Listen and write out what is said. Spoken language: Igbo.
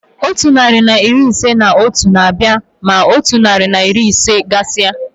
Otu narị na iri ise na otu na-abịa ma otu narị na iri ise gasia.